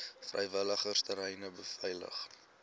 vrywilligers treine beveilig